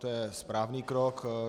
To je správný krok.